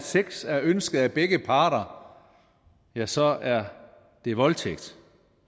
at sex er ønsket af begge parter ja så er det voldtægt